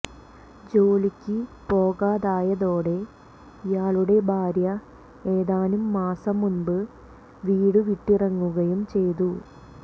ജോലിക്ക് പോകാതായതോടെ ഇയാളുടെ ഭാര്യ ഏതാനും മാസം മുമ്പ് വീടുവിട്ടിറങ്ങുകയും ചെയ്തു